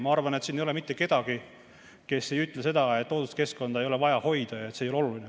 Ma arvan, et siin ei ole mitte kedagi, kes ütleks, et looduskeskkonda ei ole vaja hoida ja et see ei ole oluline.